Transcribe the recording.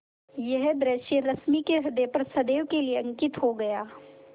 यह दृश्य रश्मि के ह्रदय पर सदैव के लिए अंकित हो गया